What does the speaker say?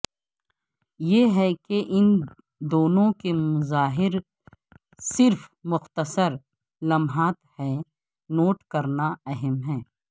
یہ ہے کہ ان دونوں کے مظاہر صرف مختصر لمحات ہیں نوٹ کرنا اہم ہے